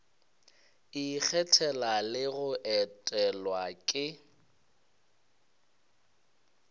ikgethela le go etelwa ke